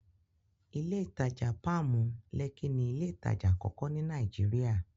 Ilé ìtajà Páàmù, Lẹ́kí ni ilé ìtajà àkọ́kọ́ ní Nàìjíríà.